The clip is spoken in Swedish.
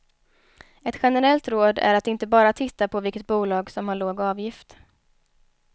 Ett generellt råd är att inte bara titta på vilket bolag som har låg avgift.